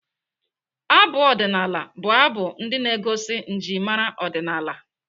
Abụ ọdịnaala bụ abụ ndị na-egosi njimara ọdịnaala.